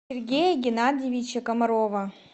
сергея геннадьевича комарова